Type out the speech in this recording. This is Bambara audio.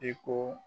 I ko